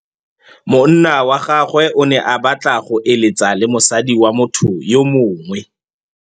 Monna wa gagwe o ne a batla go êlêtsa le mosadi wa motho yo mongwe.